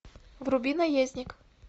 вруби наездник